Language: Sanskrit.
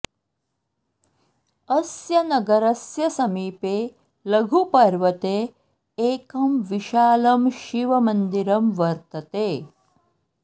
अस्य नगरस्य समीपे लघुपर्वते एकं विशालं शिवमन्दिरं वर्तते